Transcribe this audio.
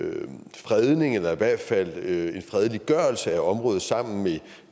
fredning eller i hvert fald en fredeliggørelse af området sammen med